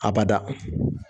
A bada.